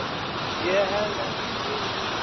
Ég hafði ekki frið í mínum beinum.